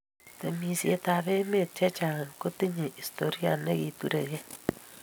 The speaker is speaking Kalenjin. Timishe ab emet che chang kotinye historia ne kiturekei.